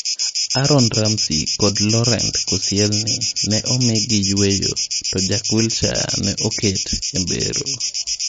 Aaron Ramsey kod Laurent Koscielny ne omiigi yweyo ,to Jack Wilshere ne oket e mbero.